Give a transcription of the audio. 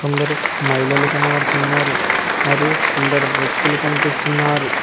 కొందరూ మహిళలు కనబడుతున్నారు మరియు కొందరు వ్యక్తులు కనిపిస్తున్నారు.